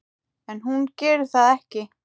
En hún gerir það ekki.